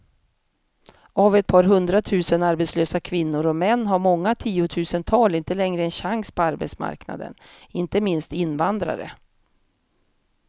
Av ett par hundratusen arbetslösa kvinnor och män har många tiotusental inte längre en chans på arbetsmarknaden, inte minst invandrare.